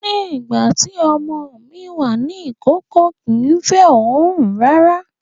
Nígbà tí ọmọ mi wà ní ìkókó, kìí fẹ́ ooru rárá